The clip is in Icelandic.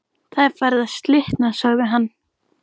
Það er farið að slitna sagði hann.